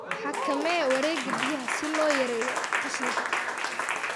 Xakamee wareegga biyaha si loo yareeyo qashinka.